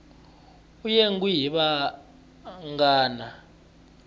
u yengiwe hi vanghana